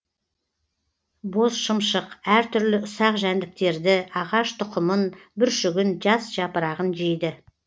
бозшымшық әр түрлі ұсақ жәндіктерді ағаш тұқымын бүршігін жас жапырағын жейді